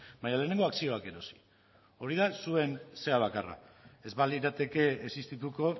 baina lehenengo akzioak erosi hori da zuen zera bakarra ez balirateke existituko